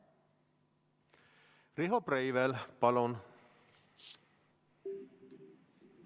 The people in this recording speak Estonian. Riho Breivel, palun!